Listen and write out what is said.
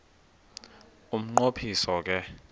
umnqo phiso ke